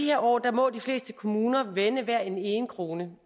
her år må de fleste kommuner vende hver en krone